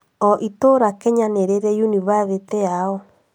O itũũra Kenya nĩ rĩrĩ yunibathĩtĩ yao